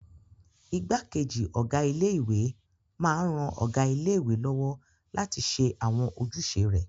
Igbákejì ọ̀gá ilé-ìwé máa n ran ọ̀gá ilé-ìwé lọ́wọ́ láti ṣe àwọn ojúṣe rẹ̀